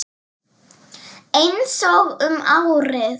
Einsog um árið.